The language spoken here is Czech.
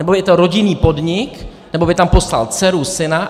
Nebo je to rodinný podnik, nebo by tam poslal dceru, syna.